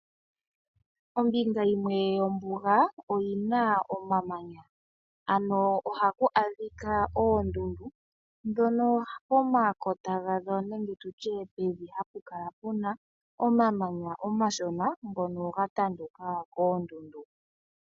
Ombinga yimwe yombuga oyina omamanya , ano ohaku adhika oondundu ndhono pomakota gadho nenge tutye pevi hapu kala puna omamanya omashona ngono ga tanduka koondundu.